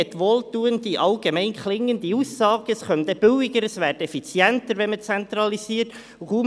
Es gab viele wohltuende, allgemein klingende Aussagen, wonach eine Zentralisierung die Kosten senke und die Effizienz stärke.